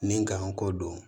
Ni n kanko don